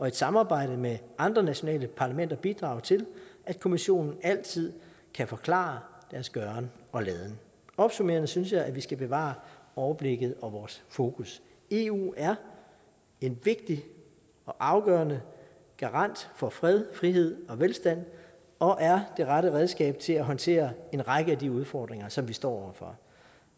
et samarbejde med andre nationale parlamenter bidrage til at kommissionen altid kan forklare deres gøren og laden opsummerende synes jeg at vi skal bevare overblikket og vores fokus eu er en vigtig og afgørende garant for fred frihed og velstand og er det rette redskab til at håndtere en række af de udfordringer som vi står over for